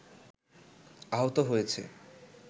আহত হয়েছে